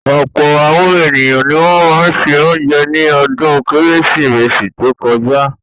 Ọ̀pọ̀ àwọn ènìyàn ni wọ́n ṣe oúnjẹ ní ọdún Kérésìmesì tó kọjá.